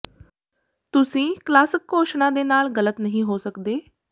ਤੁਸੀਂ ਕਲਾਸਿਕ ਘੋਸ਼ਣਾ ਦੇ ਨਾਲ ਗਲਤ ਨਹੀਂ ਹੋ ਸਕਦੇ